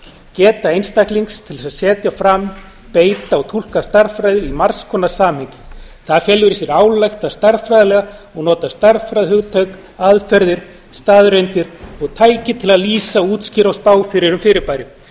geta einstaklings til þess að setja fram beita og túlka stærðfræði í margs konar samhengi það felur í sér að álykta stærðfræðilega og nota stærðfræðihugtök aðferðir staðreyndir og tæki til að lýsa útskýra og spá fyrir um fyrirbæri